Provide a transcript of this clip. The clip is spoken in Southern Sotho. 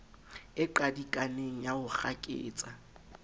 e qadikaneng ya ho kgaketsa